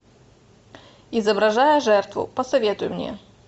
изображая жертву посоветуй мне